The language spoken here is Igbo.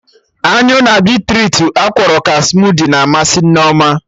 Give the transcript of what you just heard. Anyụ na beetrutu akwọrọ ka smudi na amasị Nneoma